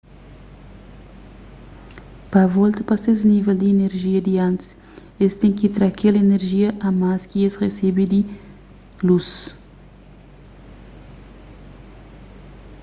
pa volta pa ses nível di inerjia di antis es ten ki tra kel inerjia a más ki es resebe di lus